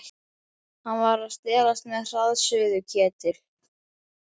Hann var að stelast með hraðsuðuketil.